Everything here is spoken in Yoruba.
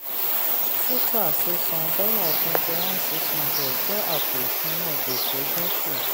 suta sísan dolar twenty one six hundred jẹ́ àpò ìṣúná gbèsè dínkù.